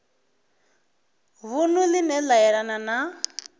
vunu ane a yelana na